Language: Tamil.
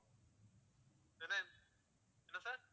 என்ன sir